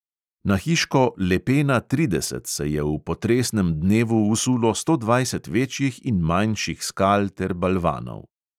Na hiško lepena trideset se je v potresnem dnevu usulo sto dvajset večjih in manjših skal ter balvanov.